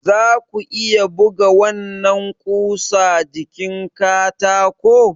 Za ku iya buga wannan ƙusa jikin katako?